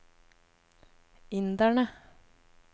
inderne